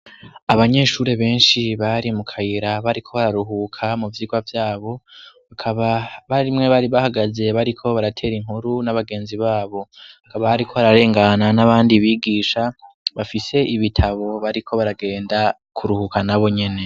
Abanyeshure benshi bari mu kayira bariko bararuhuka mu vyigwa vyabo ; bakaba barimwe bari bahagaze bariko baratera inkuru n'abagenzi babo. Hakaba hariko hararengana n'abandi bigisha, bafise ibitabo bariko baragenda kuruhuka nabo nyene.